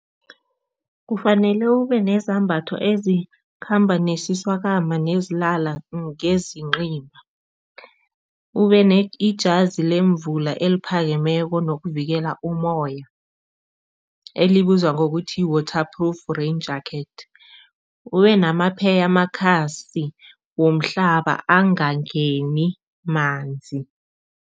Kufanele ubenezambatho ezikhamba nesiswakama nezilala ngezinqimba ube ijazi lemvula eliphakemeko nokuvikela umoya elibizwa ngokuthi yi-water proof rain. Ubenamapheyamakhasi womhlaba angangeni manzi.